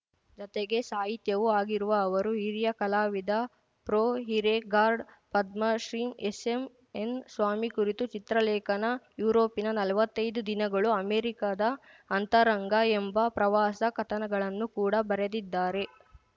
ಜತೆಗೆ ಸಾಹಿತಿಯೂ ಆಗಿರುವ ಅವರು ಹಿರಿಯ ಕಲಾವಿದ ಪ್ರೊಹಿರೇಗಾರ್ಡ್ ಪದ್ಮಶ್ರೀ ಎಸ್‌ಎನ್‌ಸ್ವಾಮಿ ಕುರಿತು ಚಿತ್ರಲೇಖನ ಯುರೋಪಿನ ನಲ್ವತ್ತೈದು ದಿನಗಳು ಅಮೆರಿಕದ ಅಂತರಂಗ ಎಂಬ ಪ್ರವಾಸ ಕಥನಗಳನ್ನು ಕೂಡ ಬರೆದಿದ್ದಾರೆ